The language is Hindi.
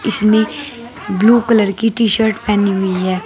इसने ब्लू कलर की टी शर्ट पहनी हुई है।